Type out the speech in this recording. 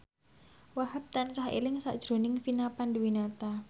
Wahhab tansah eling sakjroning Vina Panduwinata